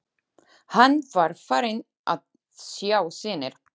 Hann var farinn að sjá sýnir!